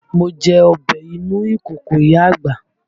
Mo jẹ ọbẹ̀ inú ìkòkò ìyá àgbà